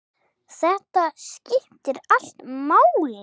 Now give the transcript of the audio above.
Þetta skiptir allt máli.